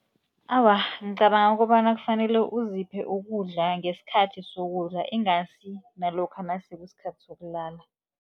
Awa, ngicabanga kobana kufanele uziphe ukudla ngesikhathi sokudla, ingasi nalokha nase kusikhathi sokulala.